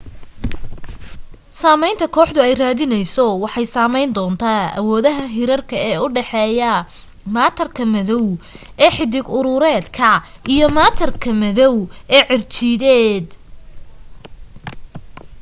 saamaynta kooxdu ay raadinayso waxaa saamayn doona awoodaha hirarka ee u dhaxeeya maatarka madow ee xiddig-urureedka iyo maatarka madow ee cirjiideed